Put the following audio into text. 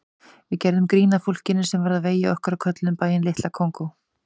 Við gerðum grín að fólkinu sem varð á vegi okkar og kölluðum bæinn Litla Kongó.